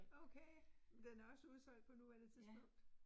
Okay. Men den er også udsolgt på nuværende tidspunkt